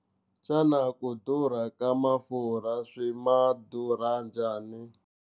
Xana ku durha ka mafurha swi ma durha njhani?